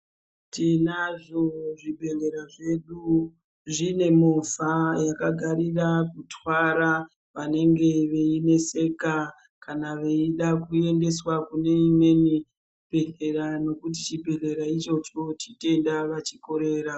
Tinazvo zvibhedhlera zvedu zvine movha zvakagarire kutwara vanenge veyineseka kana veida kuendeswa kuneimweni chibhedhlera nekuti chibhedhera ichocho chitenda vachikorera.